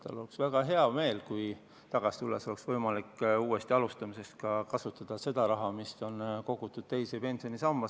Tal oleks väga hea meel, kui ta pärast tagasitulekut saaks uuesti alustamiseks kasutada ka seda raha, mis on kogutud teise pensionisambasse.